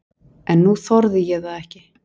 En nú þorði ég það ekki.